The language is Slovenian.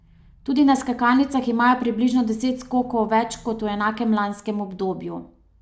Tudi na skakalnicah imajo približno deset skokov več kot v enakem lanskem obdobju.